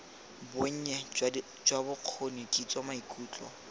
bonnye jwa bokgoni kitso maikutlo